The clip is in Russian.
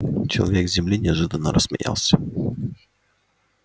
человек с земли неожиданно рассмеялся